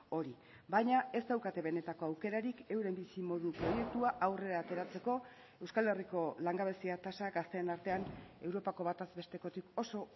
hori baina ez daukate benetako aukerarik euren bizimodu proiektua aurrera ateratzeko euskal herriko langabezia tasak gazten artean europako bataz bestekotik oso